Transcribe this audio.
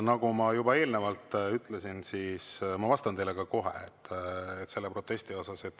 Nagu ma juba eelnevalt ütlesin, ma vastan teile kohe selle protesti kohta.